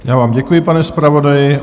Já vám děkuji, pane zpravodaji.